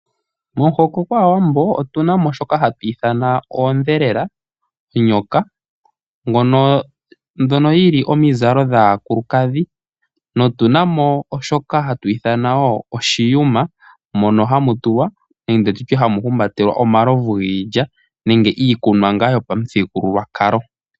Momuhoko gwaawambo otu na mo shoka hatu ithana oondhelela, oonyoka mbyono yili omizalo dhaakulukadhi. Notu na mo shika hatu ti oshiyuma mono hamu tulwa nenge tutye hamu humbatelwa omalovu giilya nenge iikunwa ngaa yopamuthigululwakalo.